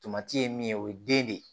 Tomati ye min ye o ye den de ye